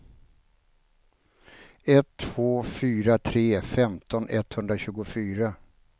ett två fyra tre femton etthundratjugofyra